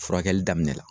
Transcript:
Furakɛli daminɛ la